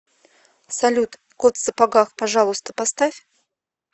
салют кот в сапогах пожалуйста поставь